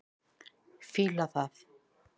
Fíla það.